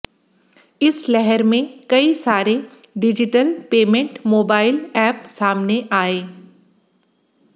इस लहर में कई सारे डिजिटल पेमेंट मोबाइल ऐप सामने आए